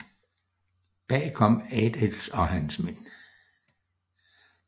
Bag kom Adils og hans mænd